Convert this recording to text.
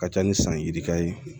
Ka ca ni san yirikare ye